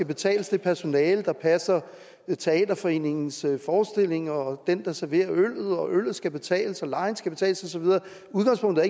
betales det personale der passer teaterforeningens forestillinger og den der serverer øllet øllet skal betales og lejen skal betales og så videre udgangspunktet